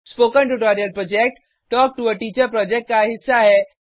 spoken tutorial project talk to a teacher project का हिस्सा है